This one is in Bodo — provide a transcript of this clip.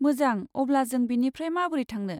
मोजां। अब्ला जों बेनिफ्राय माबोरै थांनो?